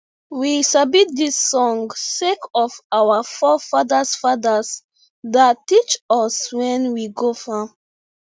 we sabi dis song sake of say our fore fadas fadas da teach us wen we go farm